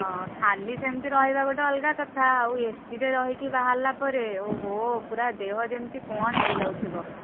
ଅ ଖାଲି ସେମତି ରହିବା ଗୋଟେ ଅଲଗା କଥା ଆଉ AC ରେ ରହିକି ବାହାରିଲା ପରେ ଓହୋ ପୁରା ଦେହ ଯେମତି କଣ ହେଇ ଯାଉଥିବ।